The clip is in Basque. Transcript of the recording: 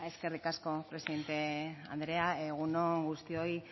eskerrik asko presidente anderea egun on guztioi